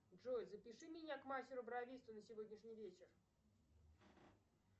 джой запиши меня к мастеру бровисту на сегодняшний вечер